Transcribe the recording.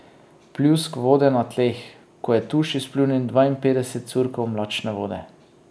Pljusk vode na tleh, ko je tuš izpljunil dvainpetdeset curkov mlačne vode.